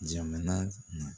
Jamana